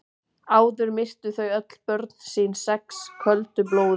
Áður myrtu þau öll börn sín sex köldu blóði.